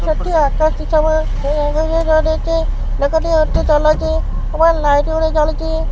ସେଠି ଅଚନ୍ତି ସବୁ ଲୋକ ଟି ଅଟୋ ଚଲଉଚି ଏବଂ ଲାଇଟ୍ ଗୋଟେ ଜଳୁଚି।